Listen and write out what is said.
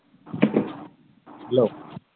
Hello